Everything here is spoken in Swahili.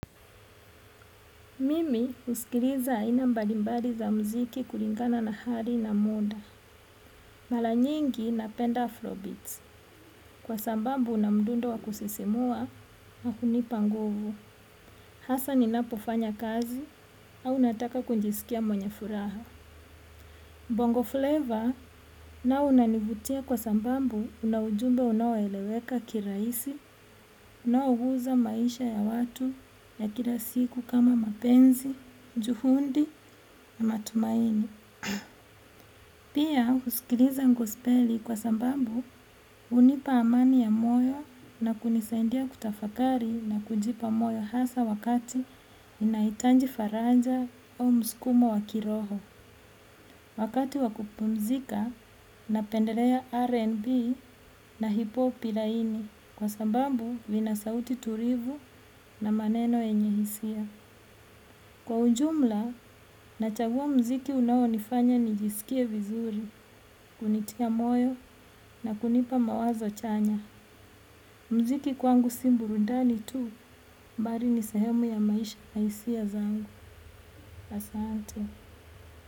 Mimi husikiliza aina mbalimbali za muziki kulingana na hali na muda. Mara nyingi napenda afrobeats kwa sababu una mdundo wa kusisimua na hunipa nguvu. Hasa ninapofanya kazi au nataka kujisikia mwenye furaha. Bongo flavor nao unanivutia kwa sababu una ujumbe unaoeleweka kirahisi, unaoguza maisha ya watu ya kila siku kama mapenzi, juhudi na matumaini. Pia husikiliza gospeli kwa sababu hunipa amani ya moyo na kunisaindia kutafakari na kujipa moyo hasa wakati ninahitaji faraja au msukumo wa kiroho. Wakati wa kupumzika napendelea RNB na hip-hop laini kwa sababu vina sauti tulivu na maneno yenye hisia. Kwa ujumla, nachagua muziki unaonifanya nijisikie vizuri, kunitia moyo na kunipa mawazo chanya. Muziki kwangu si burudani tu, bali ni sehemu ya maisha na hisia zangu. Asante.